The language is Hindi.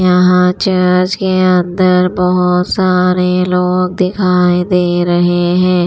यहां चर्च के अंदर बहुत सारे लोग दिखाई दे रहे हैं।